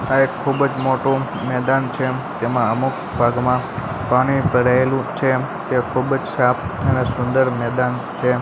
આ એક ખુબજ મોટુ મેદાન છે જેમા અમુક ભાગમાં પાણી ભરાયેલું છે તે ખુબજ સાફ અને સુંદર મેદાન છે.